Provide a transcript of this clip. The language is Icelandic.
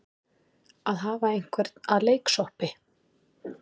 Að hafa einhvern að leiksoppi